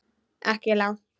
Ekki langt.